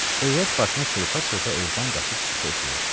Övrət başına çırpa-çırpa evdən qaçıb çıxdı eşiyə.